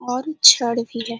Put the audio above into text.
और छड़ भी है।